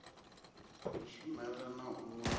ri shumela na u d